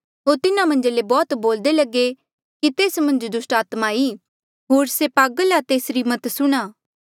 होर तिन्हा मन्झा ले बौह्त बोल्दे लगे कि तेस मन्झ दुस्टात्मा ई होर से पागल आ तेसरी मत सुणहां